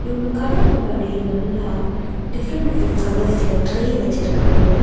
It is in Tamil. இவுங்க கட முன்னாடி நல்லா டிஃப்ரண்ட் டிஃப்ரென்ட் கலர்ஸ்ல ட்ரே வெச்சுருக்காங்க.